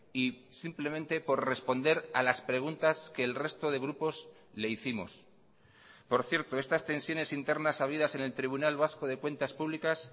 y simplemente por responder a las preguntas que el resto de grupos le hicimos por cierto estas tensiones internas habidas en el tribunal vasco de cuentas públicas